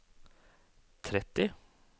tretti